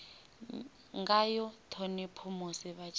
ngayo ṱhonipho musi vha tshi